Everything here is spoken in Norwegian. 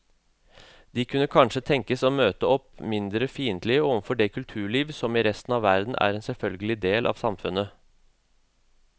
De kunne kanskje tenkes å møte opp mindre fiendtlige overfor det kulturliv som i resten av verden er en selvfølgelig del av samfunnet.